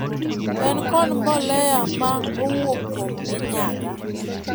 en kod mbolea ma owuok kuom minyaga.